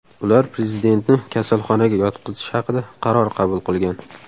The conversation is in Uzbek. Ular prezidentni kasalxonaga yotqizish haqida qaror qabul qilgan.